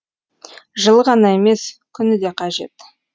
жылы ғана емес күні де қажет